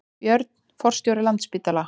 Björn forstjóri Landspítala